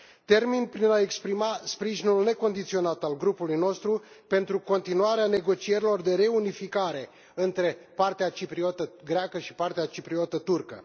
Termin prin a exprima sprijinul necondiționat al grupului nostru pentru continuarea negocierilor de reunificare între partea cipriotă greacă și partea cipriotă turcă.